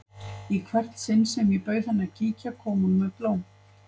Í hvert sinn sem ég bauð henni að kíkja kom hún með blóm.